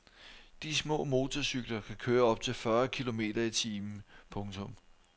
De små motorcykler kan køre op til fyrre kilometer i timen. punktum